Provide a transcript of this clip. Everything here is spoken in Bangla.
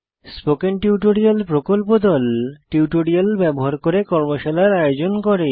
স্পোকেন টিউটোরিয়াল প্রকল্প দল টিউটোরিয়াল ব্যবহার করে কর্মশালার আয়োজন করে